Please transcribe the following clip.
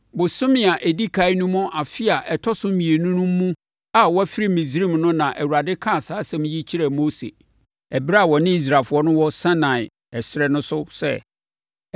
Bosome a ɛdi ɛkan no mu afe a ɛtɔ so mmienu no mu a wɔafiri Misraim no na Awurade kaa saa asɛm yi kyerɛɛ Mose ɛberɛ a ɔne Israelfoɔ wɔ Sinai ɛserɛ no so no sɛ,